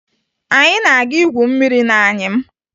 Anyị na-aga igwu mmiri n'anyịm